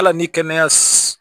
Hali ni kɛnɛya